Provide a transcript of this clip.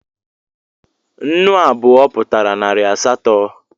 Nnu abụọ Pụtara narị asatọ